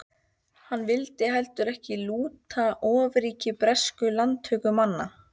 Hann vildi heldur ekki lúta ofríki breskra landtökumanna.